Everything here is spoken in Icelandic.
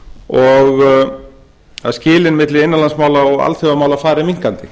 og að skilin milli innanlandsmála og alþjóðamála fari minnkandi